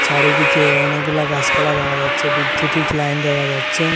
চারিদিকে অনেকগুলা গাসপালা দেখা যাচ্ছে বিদ্যুতিক লাইন দেখা যাচ্ছে।